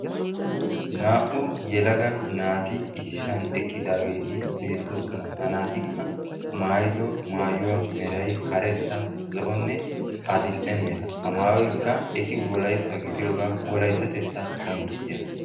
Naa"u yelaga naati issisan eqqidaageeti beettoosona. ha naatikka maayido maayuwa meray zo"onne karettanne adil"e mera. ha maayoykka eti wolaytta gidiyoogaa wolayttatettaa qonccissiyaga.